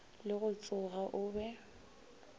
le go tsoga o be